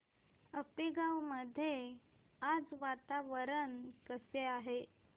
आपेगाव मध्ये आज वातावरण कसे आहे